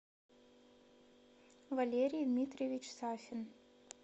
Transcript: валерий дмитриевич сафин